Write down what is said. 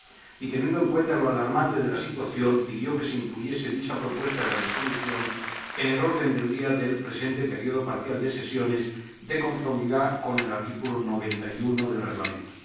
y, teniendo en cuenta lo alarmante de la situación, pidió que se incluyese dicha propuesta de resolución en el orden del día del presente período parcial de sesiones, de conformidad con el artículo 91 del Reglamento.